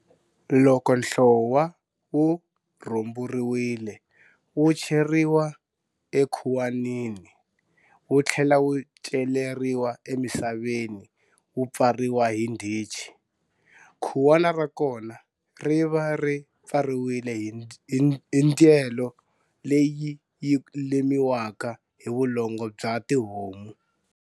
Loko nhlowa wu rhumburiwile wu cheriwa ekhuwanini, wu tlhela wu celeriwa emisaveni wu pfariwa hi ndhichi. Khuwana ra kona ri va ri pfariwile hi ndyelo leyi yi lemiwaka hi vulongo bya tihomu.